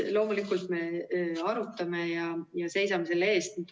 Loomulikult me arutame ja seisame selle eest.